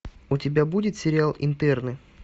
у тебя будет сериал интерны